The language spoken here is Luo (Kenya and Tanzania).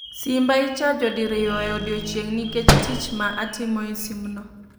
Simba ichajo diriyo e odiechieng' nikech tich ma atimo e sim no